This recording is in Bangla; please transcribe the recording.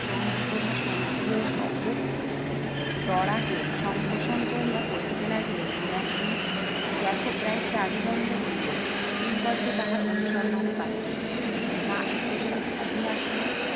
চন্দ্রপ্রভা স্বর্গীয় সহদরাকে সম্ভোষন করিয়া কহিতে লাগিলেন, বিলাসিন দেখো প্রায় চারি দণ্ড হইলো কিঙ্করকে তাহার অনুসন্ধানে পাঠিয়াছি। না এই পর্যন্ত তিনি আসিলেন,